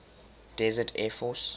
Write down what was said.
desert air force